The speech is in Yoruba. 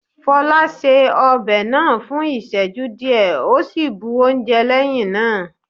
Fola ṣe ọbẹ̀ náà fún ìsẹ́jú díẹ̀ ó sì bu oúnjẹ lẹ́hìn náà.